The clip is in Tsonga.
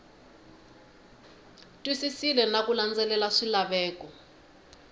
twisisile na ku landzelela swilaveko